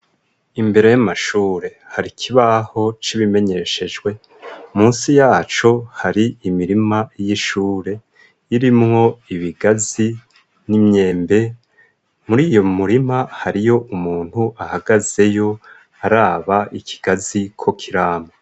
Imbere y'amashure hari kibaho c'ibimenyeshejwe munsi yaco hari imirima y'ishure irimwo ibigazi n'imyembe, muri iyo murima hariyo umuntu ahagazeyo araba ikigazi ko kirama.